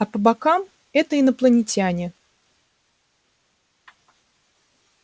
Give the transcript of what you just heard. а по бокам это инопланетяне